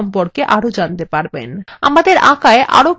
আমাদের আঁকায় আরো কিছু বস্তু যোগ করা যাক